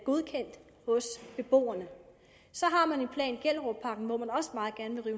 godkendt hos beboerne så har man en plan i gellerupparken hvor man